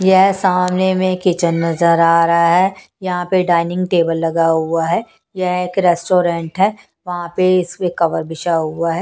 यह सामने में किचन नजर आ रहा है यहां पे डाइनिंग टेबल लगा हुआ है यह एक रेस्टोरेंट है यहां पे इसमें कवर बिछा हुआ है।